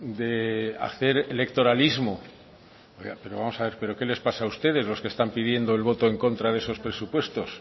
de hacer electoralismo pero vamos a ver pero qué les pasa a ustedes los que están pidiendo el voto en contra de esos presupuestos